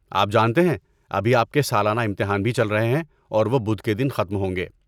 آپ جانتے ہیں ابھی آپ کے سالانہ امتحان بھی چل رہے ہیں اور وہ بدھ کے دن ختم ہوں گے۔